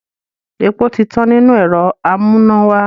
Epo ti tán nínú ẹ̀rọ amúnáwá.